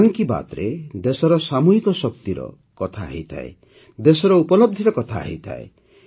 ମନ୍ କି ବାତ୍ରେ ଦେଶର ସାମୂହିକ ଶକ୍ତିର କଥା ହୋଇଥାଏ ଦେଶର ଉପଲବଧିର କଥା ହୋଇଥାଏ